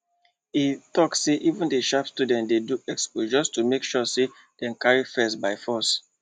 e talk say even the sharp students dey do expo just to make sure say dem carry first by force